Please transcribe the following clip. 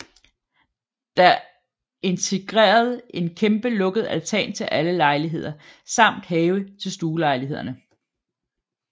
Der integreret en kæmpe lukket altan til alle lejligheder samt have til stuelejlighederne